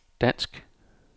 dansk